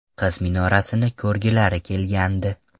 Qiz minorasini ko‘rgilari kelgandi.